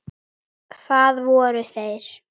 Það voru þeir